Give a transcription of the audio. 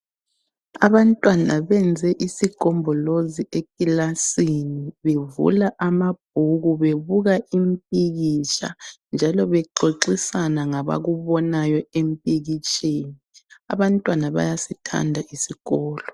Abantwana benze isigombolozi ekilasini. Bevula amabhuku bebuka impikitsha njalo bexoxisana ngabakubona empikitsheni. Abantwana bayasithanda isikolo.